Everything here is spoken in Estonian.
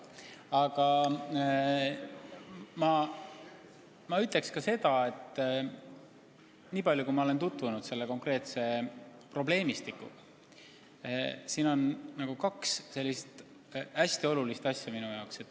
Aga ma ütlen ka seda, et nii palju kui ma olen tutvunud selle konkreetse probleemistikuga, tundub siin mängus olevat kaks hästi olulist tõsiasja.